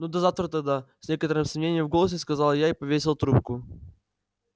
ну до завтра тогда с некоторым сомнением в голосе сказал я и повесила трубку